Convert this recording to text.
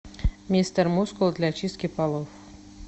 мистер мускул для чистки полов